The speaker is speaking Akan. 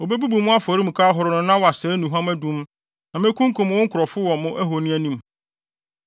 Wobebubu mo afɔremuka ahorow no na wɔasɛe nnuhuam adum; na mekunkum mo nkurɔfo wɔ mo ahoni anim.